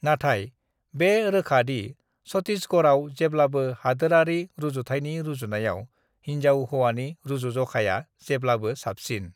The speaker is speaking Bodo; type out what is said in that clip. नाथाय बे रोखा दि छत्तीसगढ़आव जेब्लाबो हादोरारि रुजुथायनि रुजुनायाव हिन्जाव-हौवानि रुजुजखाया जेब्लाबो साबसिन।